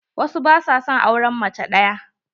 Wasu ba sua son auren mace ɗaya.